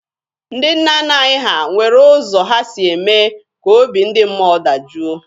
Ndị nna nna anyị ha nwere ụzọ ha si eme ka obi ndị mmụọ dajụọ.